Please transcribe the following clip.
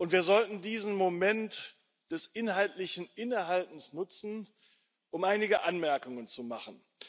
Wir sollten diesen Moment des inhaltlichen Innehaltens nutzen, um einige Anmerkungen zu machen.